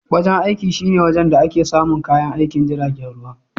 Wajen aiki shine wajen da ake samun kayan aikin jiragen ruwa.